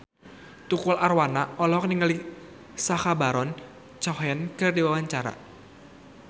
Tukul Arwana olohok ningali Sacha Baron Cohen keur diwawancara